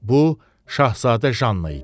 Bu, Şahzadə Janna idi.